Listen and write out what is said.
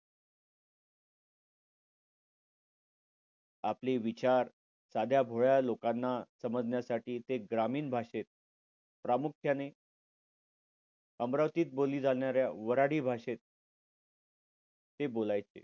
आपले विचार साध्या भोळ्या लोकांना समजण्यासाठी ते ग्रामीण भाषेत प्रामुख्याने अमरावतीत बोलली जाणाऱ्या वराडी भाषेत ते बोलायचे.